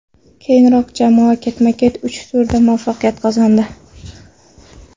Keyinroq jamoa ketma-ket uch turda muvaffaqiyat qozondi.